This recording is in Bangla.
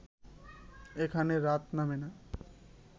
এখানে রাত নামে না